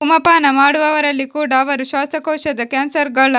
ಧೂಮಪಾನ ಮಾಡುವವರಲ್ಲಿ ಕೂಡಾ ಅವರು ಶ್ವಾಸಕೋಶದ ಕ್ಯಾನ್ಸರ್ನ